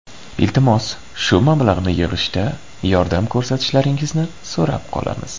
Iltimos, shu mablag‘ni yig‘ishda yordam ko‘rsatishlaringizni so‘rab qolamiz!